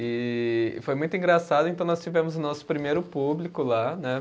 E foi muito engraçado, então nós tivemos o nosso primeiro público lá, né?